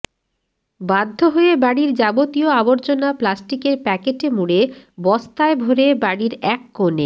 বাধ্য হয়ে বাড়ির যাবতীয় আবর্জনা প্লাস্টিকের প্যাকেটে মুড়ে বস্তায় ভরে বাড়ির এক কোণে